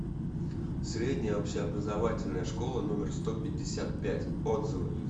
средняя общеобразовательная школа номер сто пятьдесят пять отзывы